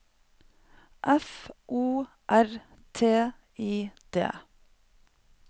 F O R T I D